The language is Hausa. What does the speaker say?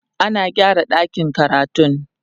ana gyara ɗakin karatun